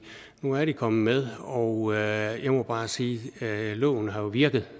nu er de kommet med og jeg må bare sige at loven jo har virket